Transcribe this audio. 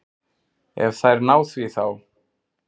Ef þær ná því þá.